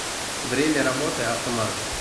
время работы авто маркет